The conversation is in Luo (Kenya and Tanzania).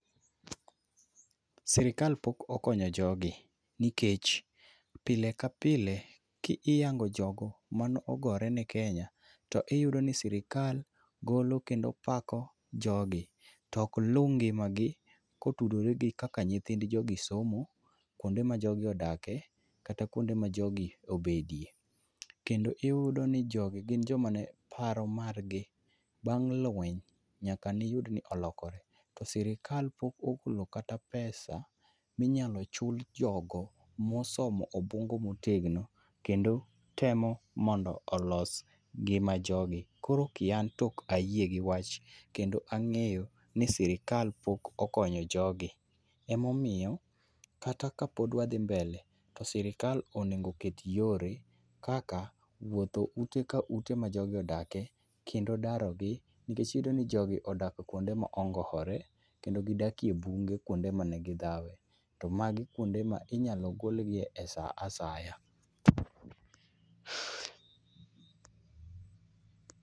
Serikal pok okonyo jogi, nikech pile ka pile kiiyango jogo mane ogore ne Kenya, to iyudo ni sirikal golo kendo pako jogi. To ok luw ngimagi, kotudore gi kaka nyithind jogi somo, kuonde ma jogi odakie, kata kuonde ma jogi obedie. Kendo iyudo ni jogi gin joma ne paro margi bang' lweny, nyaka ne iyud ni olokore. To sirikal pok ogolo kata pesa minyalo chul jogo, mosomo obuongo ma otegno, kendo temo mondo olos ngima jogi. Koro ki an to ok ayie gi wach, kendo ang'eyo ni sirikal pok okonyo jogi. Ema omiyo, kata ka pod wadhi mbele, to sirikal onego oket yore, kaka wuotho ute ka ute ma jogi odake, kendo daro gi. Nikech iyudo ni jogi odak kuonde ma ongowore, kendo gidakie bunge kuonde mane gidhawe. To magi kuonde ma inyalo golgie e sa asaya.